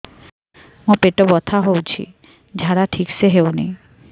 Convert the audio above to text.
ମୋ ପେଟ ବଥା ହୋଉଛି ଝାଡା ଠିକ ସେ ହେଉନି